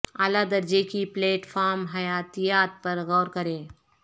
اعلی درجے کی پلیٹ فارم حیاتیات پر غور کریں